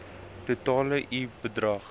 totale i bedrag